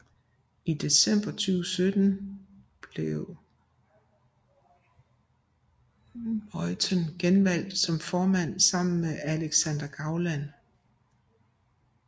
I december 2017 blev Meuthen genvalgt som formand sammen med Alexander Gauland